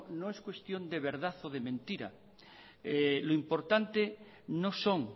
no es cuestión de verdad o de mentira lo importante no son